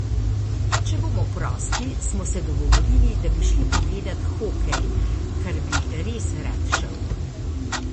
Če bomo prosti, smo se dogovorili, da bi šli pogledat hokej, kar bi res rad šel.